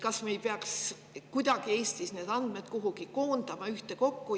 Kas me ei peaks Eestis andmeid kuhugi ühtekokku koondama?